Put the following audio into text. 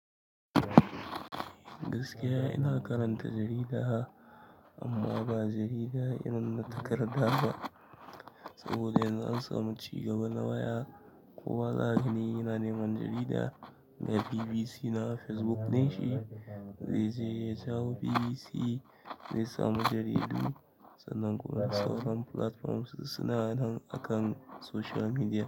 Gaskiya ina karanta jarida amma ba jarida in na takarda ba saboda yanzu an samu ci gaba na waya. Ko wallahi ni ina neman jarida mai BBC na Facebook ne shi. Zai je ya jawo BBC mai samu jaridu sannan kuma sauran platforms suna nan akan social media.